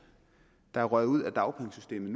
der er røget ud af dagpengesystemet